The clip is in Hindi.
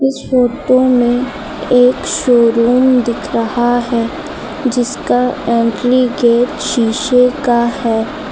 इस फोटो में एक शोरूम दिख रहा है जिसका एंट्री गेट शीशे का है।